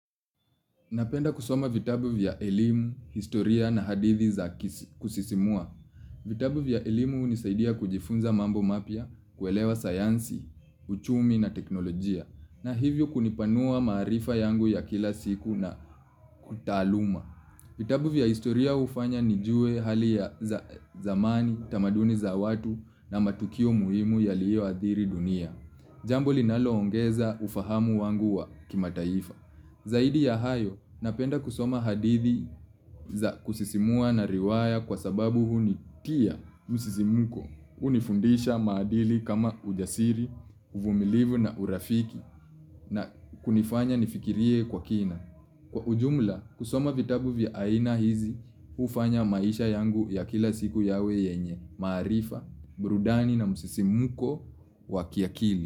Napenda kusoma vitabu vya elimu, historia na hadithi za kusisimua. Vitabu vya elimu hunisaidia kujifunza mambo mapya, kuelewa sayansi, uchumi na teknolojia. Na hivyo kunipanua maarifa yangu ya kila siku na utaaluma. Vitabu vya historia hufanya nijue hali ya zamani, tamaduni za watu na matukio muhimu yaliyoadhiri dunia. Jambo linaloongeza ufahamu wangu wa kimataifa. Zaidi ya hayo napenda kusoma hadithi za kusisimua na riwaya kwa sababu hunitia msisimko hunifundisha maadili kama ujasiri, uvumilivu na urafiki na kunifanya nifikirie kwa kina. Kwa ujumla kusoma vitabu vya aina hizi hufanya maisha yangu ya kila siku yawe yenye, maarifa, burudani na msisimko wa kiakili.